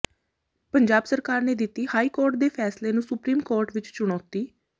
ਪੰਜਾਬ ਸਰਕਾਰ ਨੇ ਦਿੱਤੀ ਹਾਈ ਕੋਰਟ ਦੇ ਫੈਸਲੇ ਨੂੰ ਸੁਪਰੀਮ ਕੋਰਟ ਵਿੱਚ ਚੁਣੌਤੀ